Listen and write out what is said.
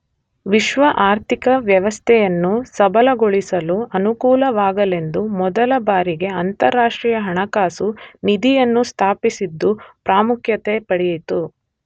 ವಿಶ್ವ ಆರ್ಥಿಕ ವ್ಯವಸ್ಥೆಯನ್ನು ಸಬಲಗೊಳಿಸಲು ಅನುಕೂಲವಾಗಲೆಂದು ಮೊದಲ ಬಾರಿಗೆ ಅಂತಾರಾಷ್ಟ್ರೀಯ ಹಣಕಾಸು ನಿಧಿ ಅನ್ನು ಸ್ಥಾಪಿಸಿದ್ದು ಪ್ರಾಮುಖ್ಯತೆ ಪಡೆಯಿತು.